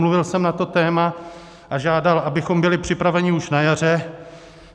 Mluvil jsem na to téma a žádal, abychom byli připraveni už na jaře.